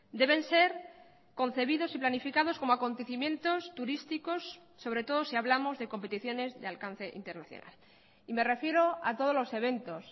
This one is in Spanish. deben ser concebidos y planificados como acontecimientos turísticos sobre todo si hablamos de competiciones de alcance internacional y me refiero a todos los eventos